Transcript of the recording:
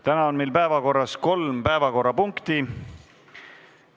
Täna on meil päevakorras kolm punkti.